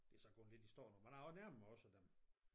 Det er så gået lidt i stå nu men jeg nærmer mig også dem